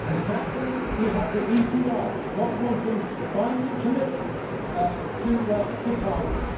Sadly, we have the ECR not wanting binding commitments to targets.